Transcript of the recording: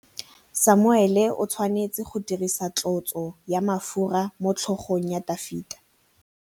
Samuele o tshwanetse go dirisa tlotsô ya mafura motlhôgong ya Dafita.